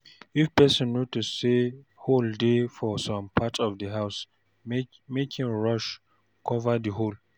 If person notice sey hole dey for some parts of di house make im rush cover di hole